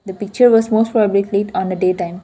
picture was most on the day time.